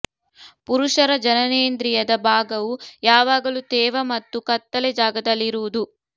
ಪುರುಷರ ಜನನೇಂದ್ರೀಯದ ಭಾಗವು ಯಾವಾಗಲೂ ತೇವ ಮತ್ತು ಕತ್ತಲೆ ಜಾಗದಲ್ಲಿ ಇರುವುದು